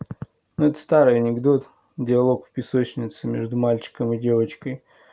старый анекдот диалог в песочнице между мальчиком и девочкой